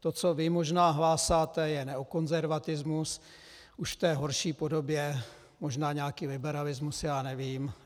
To, co vy možná hlásáte, je neokonzervatismus, už v té horší podobě, možná nějaký liberalismus, já nevím.